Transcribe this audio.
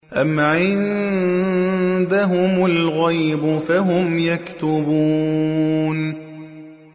أَمْ عِندَهُمُ الْغَيْبُ فَهُمْ يَكْتُبُونَ